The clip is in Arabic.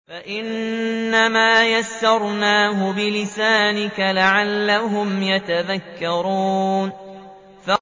فَإِنَّمَا يَسَّرْنَاهُ بِلِسَانِكَ لَعَلَّهُمْ يَتَذَكَّرُونَ